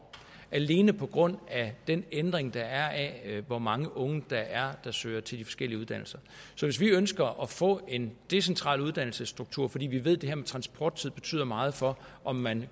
alene på grund af den ændring der er af hvor mange unge der søger til de forskellige uddannelser så hvis vi ønsker at få en decentral uddannelsesstruktur fordi vi ved at det her med transporttid betyder meget for om man